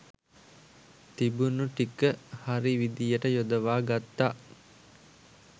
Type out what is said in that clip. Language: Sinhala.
තිබුණු ටික හරි විදිහට යොදවා ගත්තා.